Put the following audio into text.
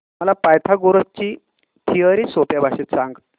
मला पायथागोरस ची थिअरी सोप्या भाषेत सांग